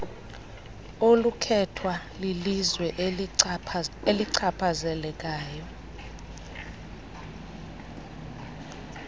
olukhethwa lilizwe elichaphazelekayo